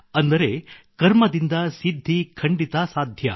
ಅಂದರೆ ಕರ್ಮದಿಂದ ಸಿದ್ಧಿ ಖಂಡಿತ ಸಾಧ್ಯ